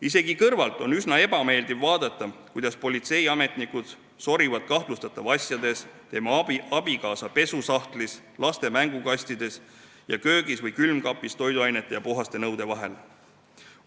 Isegi kõrvalt on üsna ebameeldiv vaadata, kuidas politseiametnikud sorivad kahtlustatava asjades, tema abikaasa pesusahtlis, laste mänguasjakastides ning köögis toiduainete ja puhaste nõude seas.